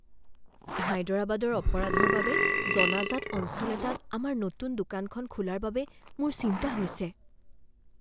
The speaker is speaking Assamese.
হায়দৰাবাদৰ অপৰাধৰ বাবে জনাজাত অঞ্চল এটাত আমাৰ নতুন দোকানখন খোলাৰ বাবে মোৰ চিন্তা হৈছে।